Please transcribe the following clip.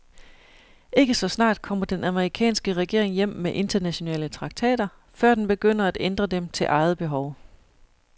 Ikke så snart kommer den amerikanske regering hjem med internationale traktater, før den begynder at ændre dem til eget behov.